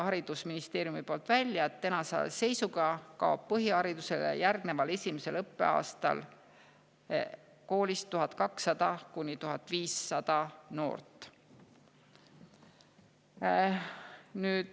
Haridusministeerium tõi välja, et tänase seisuga kaob põhiharidusele järgneval esimesel õppeaastal koolist 1200–1500 noort.